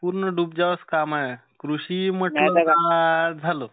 पूर्ण डूबजावच कामये, कृषी म्हंटल का झालं.